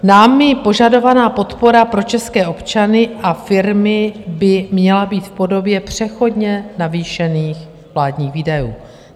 Námi požadovaná podpora pro české občany a firmy by měla být v podobě přechodně navýšených vládních výdajů.